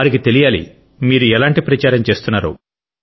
వారికీ తెలియాలి మీరు ఎలాంటి ప్రచారం చేస్తున్నారో